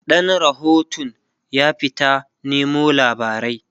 ɗan rahotun ya fita Nemo labarai